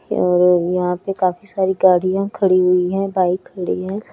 यहा पे काफी सारी गाड़िया खड़ी हुई है बाइक खड़ी है।